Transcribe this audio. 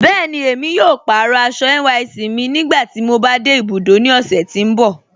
Bẹẹni, emi yóò pàárọ̀ àṣọ̀ NYSC mi nígbàtí mò bá de ibùdó ní ọ̀ṣẹ̀ tì n bọ̀.